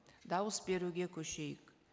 дауыс беруге көшейік